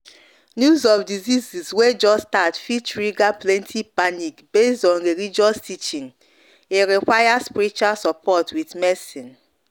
news of disease way just start fit trigger plenty panic base on religious teaching e require spiritual support with medicine.